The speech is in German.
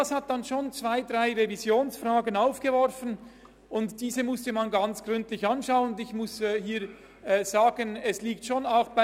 Dies hat dann schon zwei, drei Fragen aufgeworfen, die man gründlich klären musste.